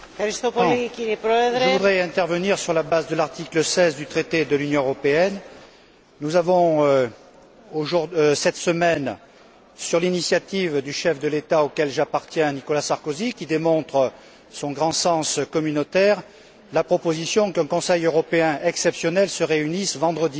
Monsieur le Président, je voudrais intervenir sur la base de l'article 16 du traité de l'Union européenne. Nous avons cette semaine, sur l'initiative du chef de l'État auquel j'appartiens, Nicolas Sarkozy qui démontre son grand sens communautaire la proposition qu'un Conseil européen exceptionnel se réunisse vendredi.